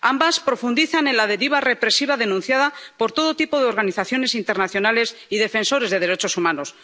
ambas profundizan en la deriva represiva denunciada por todo tipo de organizaciones internacionales y defensores de derechos humanos.